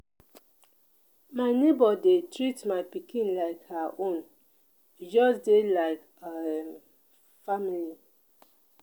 my nebor dey treat my pikin like her own we just dey like um family.